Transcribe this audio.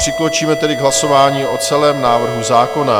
Přikročíme tedy k hlasování o celém návrhu zákona.